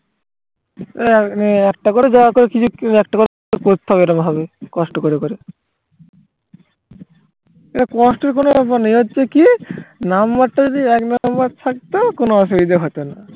একটা করেতো করতে হবে এরকম ভাবে কষ্ট করে করে এটা কষ্টের কোনো ব্যাপার নেই এ হচ্ছে কি number টা যদি এক number থাকতো কোনো অসুবিধা হতো না